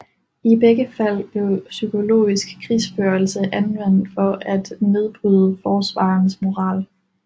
I begge fald blev psykologisk krigsførelse anvendt for at nedbryde forsvarernes moral